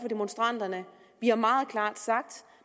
demonstranterne vi har meget klart sagt